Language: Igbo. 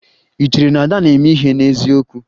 Ị chere na Ada na-eme ihe n'eziokwu?